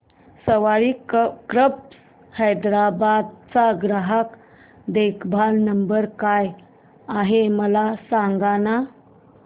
सवारी cabs Hyderabad चा ग्राहक देखभाल नंबर काय आहे मला सांगाना